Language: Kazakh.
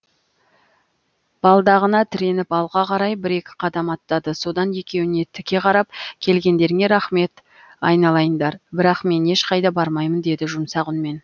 балдағына тіреніп алға қарай бір екі қадам аттады содан екеуіне тіке қарап келгендеріңе рахмет айналайындар бірақ мен ешқайда бармаймын деді жұмсақ үнмен